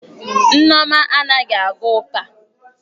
Nneoma anaghi aga uka.